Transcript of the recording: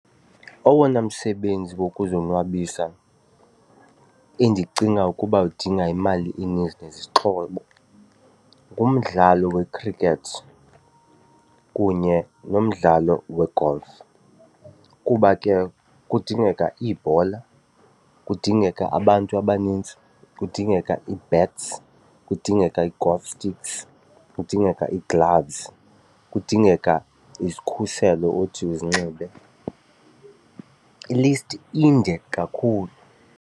Owona msebenzi wokuzonwabisa endicinga ukuba udinga imali eninzi nezixhobo ngumdlalo wekhrikhethi kunye nomdlalo we-golf kuba ke kudingeka iibhola, kudingeka abantu abanintsi kudingeka ii-bats, kudingeka i-golf sticks, kudingeka ii-gloves kudingeka izikhuselo othi uzinxibe, ilisti inde kakhulu.